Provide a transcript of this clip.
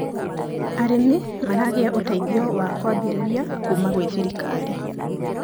arĩmi maragia uteithio wa kuambiriria kuma gwi thirikari